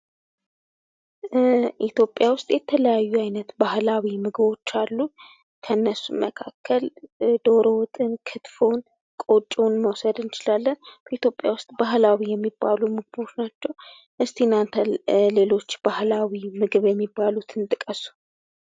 ኢትዮጵያ ውስጥ የተለያዩ አይነት ባህላዊ ምግቦች አሉ። ከነሱም ውስጥ ዶሮ፣ ቁርጥና ቆጮን መውሰድ እንችላለን ።ሌሎች ባህላዊ ምግቦችን ጥቀሱ?